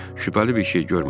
Şübhəli bir şey görmədik.